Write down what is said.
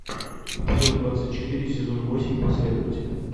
эпизод двадцать четыре сезон восемь последователи